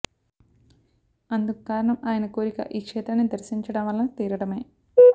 అందుకు కారణం ఆయన కోరిక ఈ క్షేత్రాన్ని దర్శించడం వలన తీరడమే